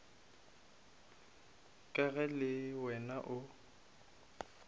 ka ge le wena o